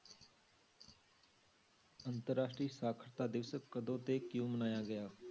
ਅੰਤਰ ਰਾਸ਼ਟਰੀ ਸਾਖ਼ਰਤਾ ਦਿਵਸ ਕਦੋਂ ਤੇ ਕਿਉਂ ਮਨਾਇਆ ਗਿਆ?